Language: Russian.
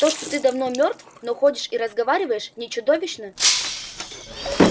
то что ты давно мёртв но ходишь и разговариваешь не чудовищно